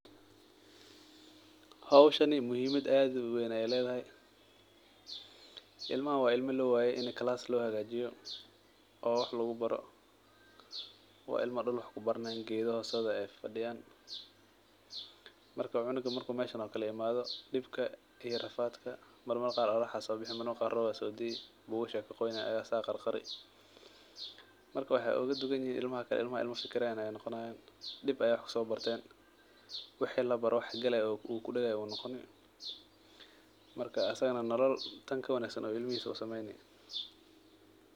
Howshani muhimad ad uu weyn ayay ledahay, ilmahan wa ilmo loo wayey ini [cd]class lohagajiyo oo wax lagu baro, wa ilmo dul wax kubarayan, gedho hostodha ayay fafadiyan, marka cunuga marku meshan okale imado dibka iyo rafadka marmar qar qoxar aya sobixi marmar qar rob aya sodii bugasha aya kaqoynayan asaga aya qarqari. Marka waxa oga duwanyihin ilmaha kale, ilmaha ilma fikirayan ayay noqonayan dib ayay wax kuso barten wixi labaro wax galay oo ukudegay ayay noqoni marka asaganah nolol tan kawanagsan ayu ilmihisa usameyni.